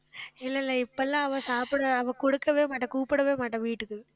இல்ல, இல்ல இப்ப எல்லாம் அவ சாப்பிட அவ குடுக்கவே மாட்டா கூப்பிடவே மாட்டா வீட்டுக்கு